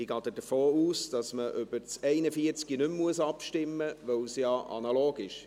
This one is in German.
Ich gehe davon aus, dass wir über Artikel 41 nicht mehr abstimmen müssen, weil es ja analog ist.